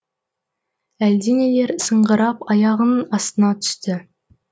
әлденелер сыңғырап аяғының астына түсті